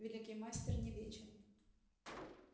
великий мастер не вечен